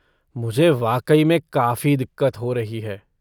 मुझे वाकई में काफ़ी दिक्कत हो रही है।